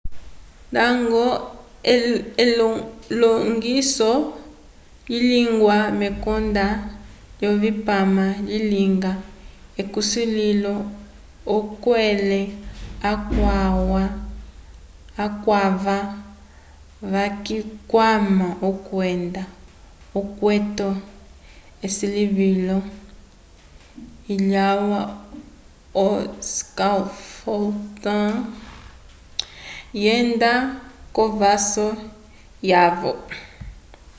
ndañgo elilongiso lilingiwa mekonda lyovipama lilinga ukulĩhiso okulele akwava vayikwama kwenda ikwete esilivilo lyalwa o scaffolding lyenda k'ovaso yaco